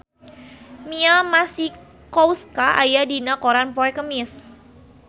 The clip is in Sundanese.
Mia Masikowska aya dina koran poe Kemis